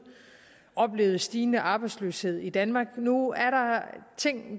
oplevet stigende arbejdsløshed i danmark nu er